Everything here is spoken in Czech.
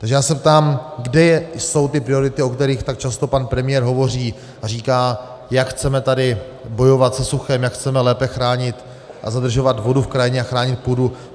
Takže já se ptám, kde jsou ty priority, o kterých tak často pan premiér hovoří a říká, jak chceme tady bojovat se suchem, jak chceme lépe chránit a zadržovat vodu v krajině a chránit půdu?